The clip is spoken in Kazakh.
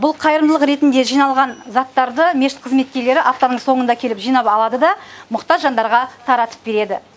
бұл қайырымдылық ретінде жиналған заттарды мешіт қызметкерлері аптаның соңында келіп жинап алады да мұқтаж жандарға таратып береді